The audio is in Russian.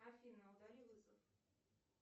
афина удали вызов